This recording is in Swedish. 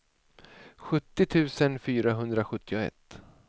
sjuttio tusen fyrahundrasjuttioett